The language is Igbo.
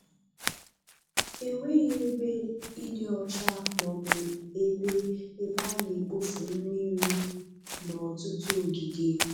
Enweghị ebe ịdị ọcha ma ọ bụ ebe ebe a na-ekpofu mmiri n'ọtụtụ ogige.